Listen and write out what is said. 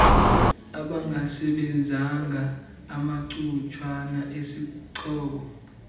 abangasebenzanga amacutswana ezixhobo